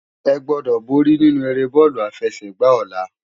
Egbòdò bòri ninú éré bólú àfèsègbá òlá